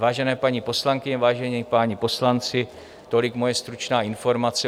Vážené paní poslankyně, vážení páni poslanci, tolik moje stručná informace.